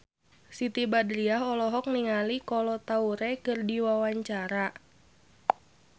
Siti Badriah olohok ningali Kolo Taure keur diwawancara